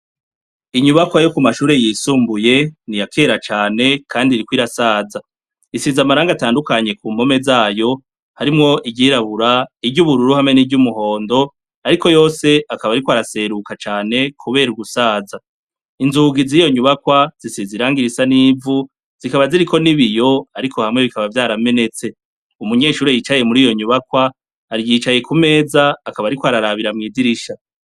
Inyubakwa yo ku mashure yisumbuye, ni yakera cane Kandi iriko irasaza. Isize amarangi atandukanye ku mpome zayo, harimwo iry'irabura, n'iry'ubururu, n'iry'umuhondo, ariko yose akaba ariko araseruka cane kubera gusaza. Inzugi ziyo nyubakwa zisize irangi risa n'ivu, zikaba ziriko n'ibiyo, ariko hamwe bikaba vyaramentse. Umunyeshure yicaye muriyo nyubakwa, yicaye kumeza akaba ariko ararabira mw'idirisha.